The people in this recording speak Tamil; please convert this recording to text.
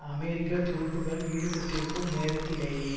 அமெரிக்க துருப்புக்கள் ஈடுபட்டிருக்கும் நேரத்திலேயே